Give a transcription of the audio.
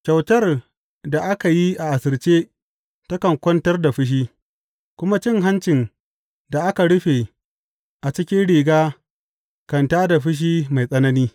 Kyautar da aka yi a asirce takan kwantar da fushi, kuma cin hancin da aka rufe a cikin riga kan tā da fushi mai tsanani.